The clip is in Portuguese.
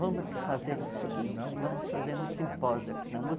Vamos fazer o seguinte, vamos fazer um simpósio aqui na USP.